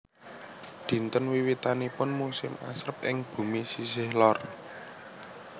Dinten wiwitanipun musim asrep ing bumi sisih lor